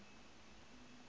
national guard ang